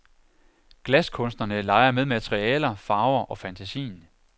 Glaskunstnerne leger med materialer, farver og fantasien.